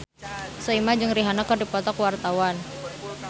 Soimah jeung Rihanna keur dipoto ku wartawan